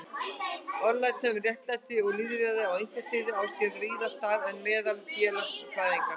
Orðræða um réttlæti og lýðræði á einkasviðinu á sér víðar stað en meðal félagsfræðinga.